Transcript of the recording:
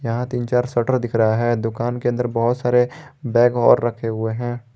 यहां तीन चार शटर दिख रहा है दुकान के अंदर बहोत सारे बैग और रखे हुए हैं।